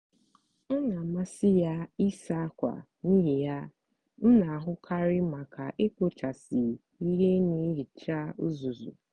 ọ n'amasị ya ịsa ákwà n'ihi ya m n'ahụkarị maka ekpochasị ihe na ihicha uzuzu.